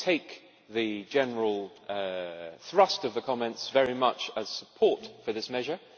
I take the general thrust of the comments very much as support for this measure.